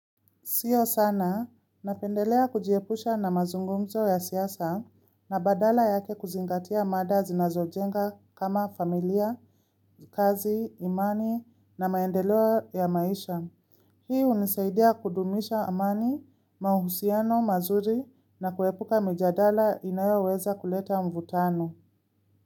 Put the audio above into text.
Sio sana, napendelea kujiepusha na mazungumzo ya siasa na badala yake kuzingatia mada zinazojenga kama familia, kazi, imani na maendeleo ya maisha. Hii hunisaidia kudumisha amani, mahusiano mazuri na kuepuka mijadala inayoweza kuleta mvutano.